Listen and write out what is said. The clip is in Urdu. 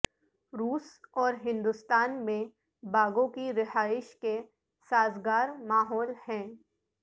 روس اور ہندوستان میں باگوں کی رہائش کے سازگار ماحول ہیں